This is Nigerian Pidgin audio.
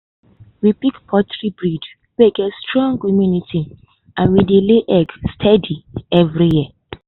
we pick poultry breed wey get strong immunity and im dey lay egg steady all year.